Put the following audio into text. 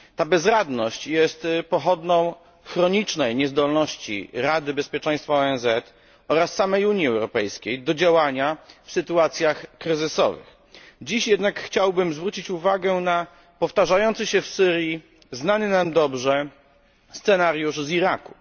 Ta bezradność jest pochodną chronicznej niezdolności Rady Bezpieczeństwa ONZ oraz samej Unii Europejskiej do działania w sytuacjach kryzysowych. Dziś jednak chciałbym zwrócić uwagę na powtarzający się w Syrii znany nam dobrze scenariusz z Iraku.